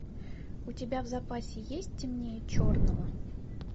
у тебя в запасе есть темнее черного